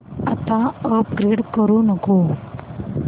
आता अपग्रेड करू नको